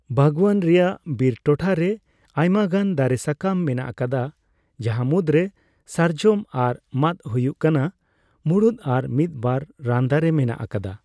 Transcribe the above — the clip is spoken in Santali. ᱵᱟᱜᱽᱣᱟᱱ ᱨᱮᱭᱟᱜ ᱵᱤᱨ ᱴᱚᱴᱷᱟᱨᱮ ᱟᱭᱢᱟᱜᱟᱱ ᱫᱟᱨᱮᱹᱥᱟᱠᱟᱢ ᱢᱮᱱᱟᱜ ᱟᱠᱟᱫᱟ ᱡᱟᱦᱟᱸ ᱢᱩᱫᱽᱨᱮ ᱥᱟᱨᱡᱚᱢ ᱟᱨ ᱢᱟᱺᱫ ᱦᱳᱭᱳᱜ ᱠᱟᱱᱟ ᱢᱩᱲᱩᱫ ᱟᱨ ᱢᱤᱫ ᱵᱟᱨ ᱨᱟᱱ ᱫᱟᱨᱮᱹ ᱢᱮᱱᱟᱜ ᱟᱠᱟᱫᱟ ᱾